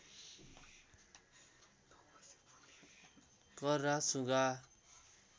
कर्रा सुगा